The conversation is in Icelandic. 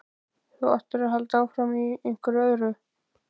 Þú áttir að halda áfram, í einhverjum öðrum.